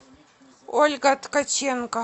ольга ткаченко